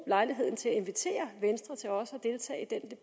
lejligheden til at invitere venstre til også